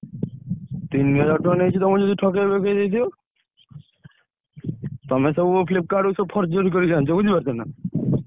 ତିନି ହଜାର ଟଙ୍କା ନେଇଚି ତମକୁ ସିଏ ଠକେଇ ଫକେଇ ଦେଇଥିବ! ତମେସବୁ Flipkart ରୁ ସବୁ କରିକି ଆଣିଛ